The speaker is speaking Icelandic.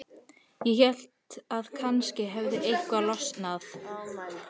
Ég hélt að kannski hefði eitthvað losnað.